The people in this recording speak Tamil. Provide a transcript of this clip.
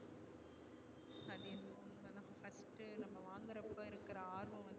நம்ம வாங்குற அப்போ இருக்குற ஆர்வம்